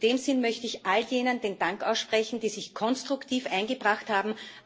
In dem Sinn möchte ich all jenen Dank aussprechen, die sich konstruktiv eingebracht haben.